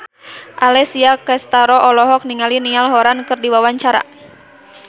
Alessia Cestaro olohok ningali Niall Horran keur diwawancara